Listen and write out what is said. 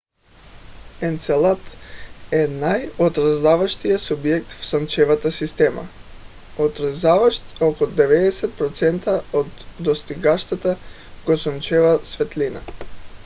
енцелад е най - отразяващият обект в слънчевата система отразяващ около 90 процента от достигащата го слънчева светлина